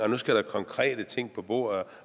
der skal konkrete ting på bordet